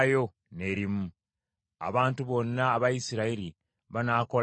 Abantu bonna aba Isirayiri banaakolanga omukolo guno.